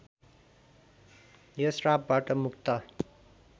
यो श्रापबाट मुक्त